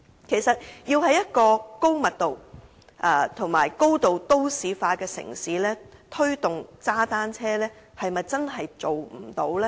其實，要在一個高密度和高度都市化的城市推動踏單車，是否真的不可行呢？